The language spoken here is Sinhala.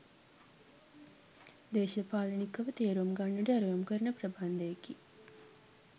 දේශපාලනිකව තේරුම් ගන්නට ඇරයුම් කරන ප්‍රබන්ධයකි